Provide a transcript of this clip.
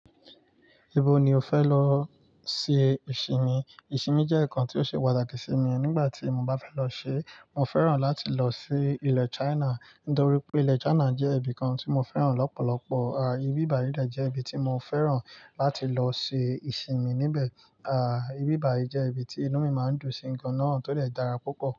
Ibo ni o fẹ lọ ṣe ìsinmi? Ìsinmi jẹ́ ǹkan tí ó ṣe pàtàkì sí mi. Nígbà tí mo bá fẹ́ lọ ṣe, mo fẹ́ràn láti lọ sí ilẹ̀ China nítorí pé ilẹ̀ China jẹ́ ibìkan tí mo fẹ́ràn lọ́pọ̀lọpọ̀. À, ibíbàyi jẹ́ ibi tí mo fẹ́ràn láti lọ ṣe ìsinmi níbẹ̀. Àí, bíbàjẹ jẹ́ ibi tí inú mi máa ń dùn sí nǹkan náà tó dè dára púpọ̀.